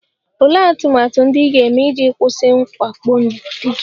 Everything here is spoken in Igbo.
Olee atụmatụ ndị ị ga-eme iji kwụsị mwakpo di gị?